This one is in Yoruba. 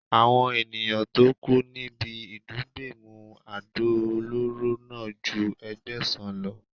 Àwọn ènìyàn tó kú níbi ìdúgbẹ̀mù àdó olóró náà ju Ẹgbẹ̀sàn lọ.